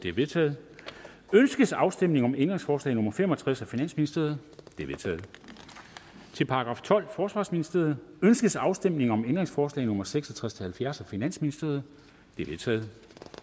er vedtaget ønskes afstemning om ændringsforslag nummer fem og tres af finansministeren det er vedtaget til § tolvte forsvarsministeriet ønskes afstemning om ændringsforslag nummer seks og tres til halvfjerds af finansministeren de er vedtaget